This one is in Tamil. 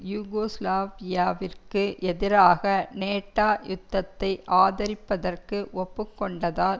யூகோஸ்லாவியாவிற்கு எதிராக நேட்டோ யுத்தத்தை ஆதரிப்பதற்கு ஒப்புக்கொண்டதால்